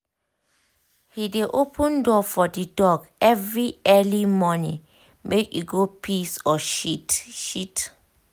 he dey open door for the dog every early morning make e go piss or shit. shit.